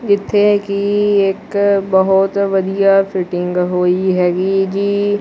ਇੱਥੇ ਕੀ ਇੱਕ ਬਹੁਤ ਵਧੀਆ ਫਿਟਿੰਗ ਹੋਈ ਹੈਗੀ ਏ ਜੀ।